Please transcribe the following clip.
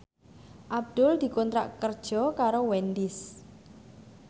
Abdul dikontrak kerja karo Wendys